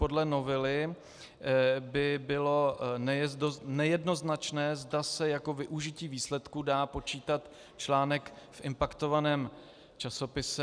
Podle novely by bylo nejednoznačné, zda se jako využití výsledků dá počítat článek v impaktovaném časopise.